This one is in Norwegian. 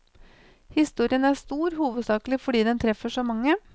Historien er stor, hovedsakelig fordi den treffer så mange.